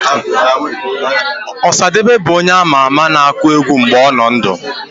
Ọsadebe bụ onye a ma ama na-akụ egwu mgbe ọ nọ ndụ